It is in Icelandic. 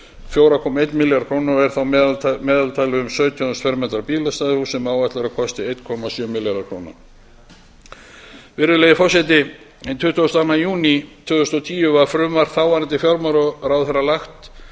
fjóra komma einn milljarð króna og er þá meðtalið um sautján þúsund fermetra bílastæðahús sem áætlað er að kosti einn komma sjö milljarð króna virðulegi forseti hinn tuttugasta og annan júní tvö þúsund og tíu var frumvarp þáverandi fjármálaráðherra